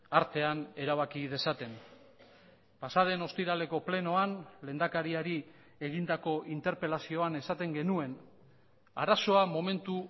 artean erabaki dezaten pasa den ostiraleko plenoan lehendakariari egindako interpelazioan esaten genuen arazoa momentu